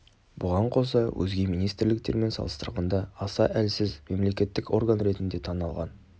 бұған қоса өзге министрліктермен салыстырғанда аса әлсіз мемлекеттік орган ретінде танылған